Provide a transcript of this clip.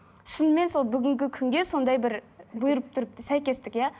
шынымен сол бүгінгі күнге сондай бір бұйырып тұрыпты сәйкестік иә